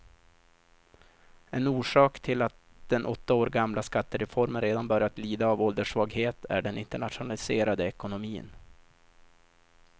En orsak till att den åtta år gamla skattereformen redan börjar lida av ålderssvaghet är den internationaliserade ekonomin.